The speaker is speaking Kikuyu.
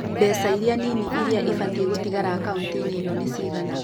Mbeca iria nini iria ibatie gũtigara akaũnti-inĩ ĩno nĩ cigana.